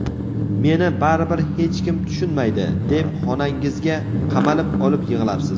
"Meni baribir hech kim tushunmaydi" deb xonangizga qamalib olib yig‘larsiz.